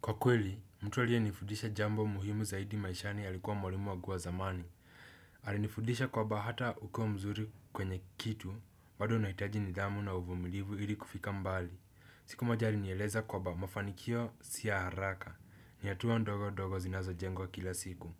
Kwa kweli, mtu aliyenifudisha jambo muhimu zaidi maishani alikuwa mwalimu wagubwa zamani. Alinifudisha kwaba hata ukiwa mzuri kwenye kitu, bado unahitaji nidhamu na uvumilivu ili kufika mbali. Siku moja alinieleza kwaba mafanikio si ya haraka ni hatua ndogo ndogo zinazojengwa kila siku.